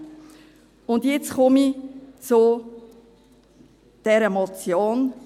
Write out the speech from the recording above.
Und jetzt komme ich zu dieser Motion.